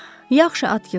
Yaxşı, Atkiç.